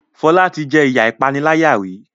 Fola tí jé iya ìpaniláyà rí